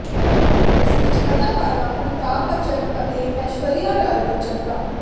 ਇਸ ਵਿੱਚ ਅਦਾਕਾਰਾ ਅਮਿਤਾਭ ਬੱਚਨ ਅਤੇ ਐਸ਼ਵਰਿਆ ਰਾਏ ਬੱਚਨ ਦਾ